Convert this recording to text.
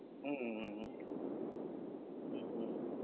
હમ હમ હમ હમ હમ